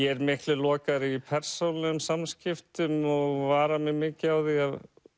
er miklu lokaðri í persónulegum samskiptum og vara mig mikið á því að